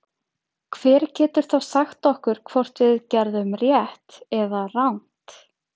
Hver getur þá sagt okkur hvort við gerðum rangt eða rétt?